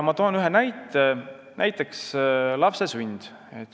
Ma toon ühe näite: lapse sünd.